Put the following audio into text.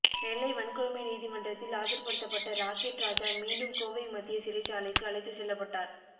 நெல்லை வன்கொடுமை நீதிமன்றத்தில் ஆஜர்படுத்தப்பட்ட ராக்கெட் ராஜா மீணடும்கோவை மத்திய சிறைச்சாலைக்கு அழைத்து செல்லபட்டார்